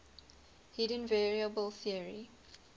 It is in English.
hidden variable theory